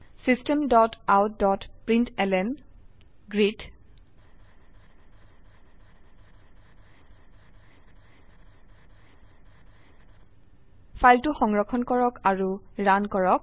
systemoutপ্ৰিণ্টলন ফাইলটো সংৰক্ষণ কৰক আৰু ৰান কৰক